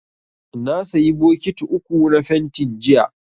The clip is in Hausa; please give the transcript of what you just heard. Na sayi bokiti uku na fentin, jiya.